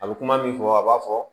A bɛ kuma min fɔ a b'a fɔ